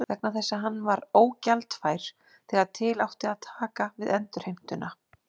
vegna þess að hann var ógjaldfær þegar til átti að taka við endurheimtuna.